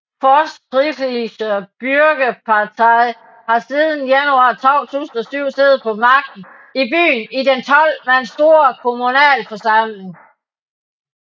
Fortschrittliche Bürgerpartei har siden januar 2007 siddet på magten i byen i den 12 mand store kommunalforsamling